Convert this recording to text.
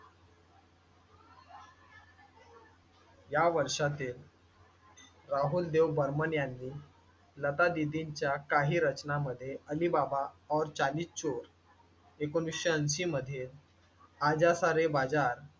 या वर्षातील राहुलदेव बरमण यांनी लता दिदींच्या काही रचना मध्ये अलीबाबा और चालीस चोर ऐकोनिसशे ऐंशी मध्ये आजा सारे बाजार